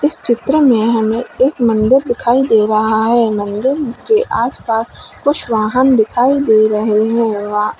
इस चित्र में हमें एक मंदिर दिखाई दे रहा है मंदिर के आस पास कुछ वाहन दिखाई दे रहे है। वाह--